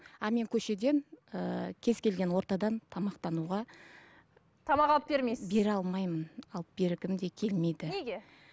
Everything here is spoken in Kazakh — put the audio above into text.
ал мен көшеден ііі кез келген ортадан тамақтануға тамақ алып бермейсіз бере алмаймын алып бергім де келмейді неге